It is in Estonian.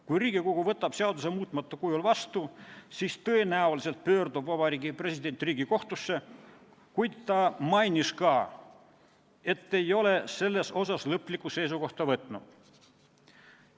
Kui Riigikogu võtab seaduse muutmata kujul vastu, siis pöördub Vabariigi President tõenäoliselt Riigikohtusse, kuid ta mainis ka, et ei ole selles asjas lõplikku seisukohta võtnud.